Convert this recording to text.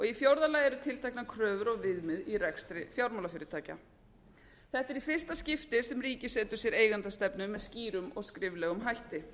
í fjórða lagi eru tilteknar kröfur og viðmið í rekstri fjármálafyrirtækja þetta er í fyrsta skipti sem ríkið setur sér eigendastefnu með skýrum og skriflegum hætti